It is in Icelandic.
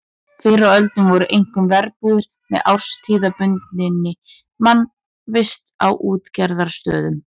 Fyrr á öldum voru einkum verbúðir með árstíðabundinni mannvist á útgerðarstöðum.